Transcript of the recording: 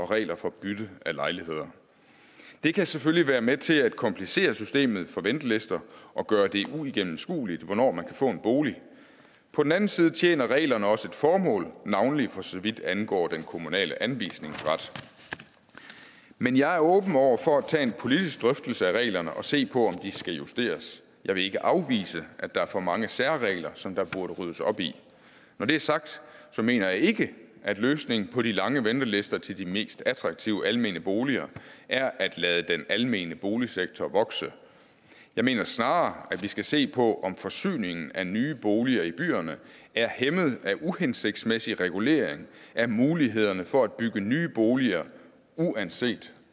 regler for bytte af lejligheder det kan selvfølgelig være med til at komplicere systemet for ventelister og gøre det uigennemskueligt hvornår man kan få en bolig på den anden side tjener reglerne også et formål navnlig for så vidt angår den kommunale anvisningsret men jeg er åben over for at tage en politisk drøftelse af reglerne og se på de skal justeres jeg vil ikke afvise at der er for mange særregler som der burde ryddes op i når det er sagt mener jeg ikke at løsningen på de lange ventelister til de mest attraktive almene boliger er at lade den almene boligsektor vokse jeg mener snarere at vi skal se på om forsyningen af nye boliger i byerne er hæmmet af uhensigtsmæssig regulering af mulighederne for at bygge nye boliger uanset